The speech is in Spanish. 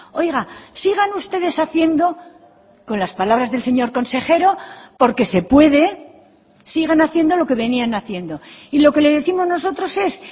oiga sigan ustedes haciendo con las palabras del señor consejero porque se puede sigan haciendo lo que venían haciendo y lo que le décimos nosotros es